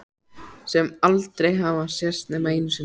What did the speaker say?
Sem aldrei hafa sést nema einu sinni.